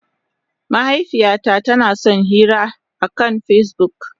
Mahaifiyata tana son yin hira akan Facebook.